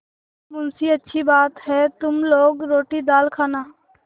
मुंशीअच्छी बात है तुम लोग रोटीदाल खाना